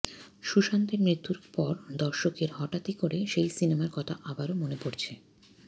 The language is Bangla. সুশান্তের মৃত্যুর পর দর্শকের হঠাৎ করেই সেই সিনেমার কথা আবারও মনে পড়েছে